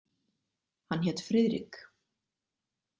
Hann hét Friðrik.